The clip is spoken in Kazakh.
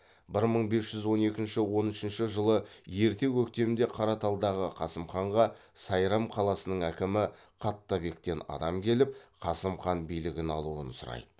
бір мың бес жүз он екінші он үшінші жылы ерте көктемде қараталдағы қасым ханға сайрам қаласының әкімі қаттабектен адам келіп қасым хан билігін алуын сұрайды